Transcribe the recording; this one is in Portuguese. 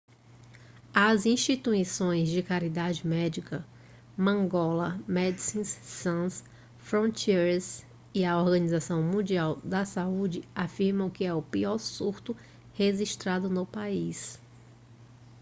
as instituições de caridade médica mangola medecins sans frontieres e a organização mundial da saúde afirmam que é o pior surto registrado no país